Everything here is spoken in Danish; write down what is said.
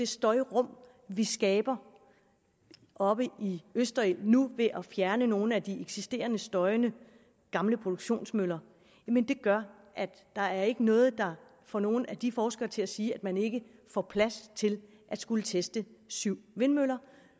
støjrum vi skaber oppe i østerild nu ved at fjerne nogle af de eksisterende støjende gamle produktionsmøller gør at der ikke er noget der får nogen af de forskere til at sige at man ikke får plads til at skulle teste syv vindmøller